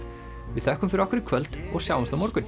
við þökkum fyrir okkur í kvöld og sjáumst á morgun